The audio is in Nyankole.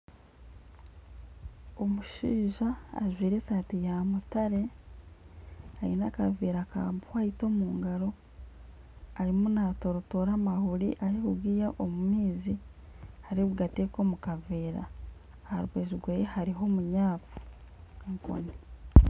Omushaija ajwaire esaati ya mutare aine akaveera ka wayiti omu ngaro arimu natooratora amahuuri arikugiiha omu maizi arikugateeka omu kaveera aha rubaju rweye hariho omunyafu, enkooni.